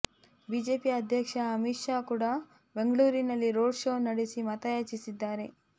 BJP ಅಧ್ಯಕ್ಷ ಅಮಿತ್ ಶಾ ಕೂಡಾ ಬೆಂಗಳೂರಿನಲ್ಲಿ ರೋಡ್ ಶೋ ನಡೆಸಿ ಮತಯಾಚಿಸಿದ್ದಾರೆ